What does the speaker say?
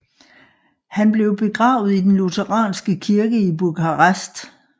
Han blev begravet i den lutheranske kirke i Bukarest